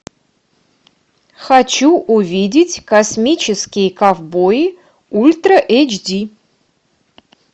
хочу увидеть космические ковбои ультра эйч ди